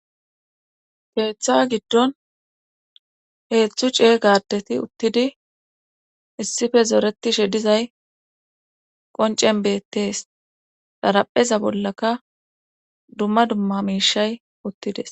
keeththa giddon heezhzhu ceega adeti uttidi issife zooretishe dizay qoncen beettees xarapheza bollaka dumma dumma miishay uttides.